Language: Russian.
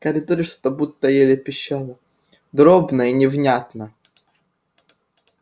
в коридоре что-то будто еле пищало дробно и невнятно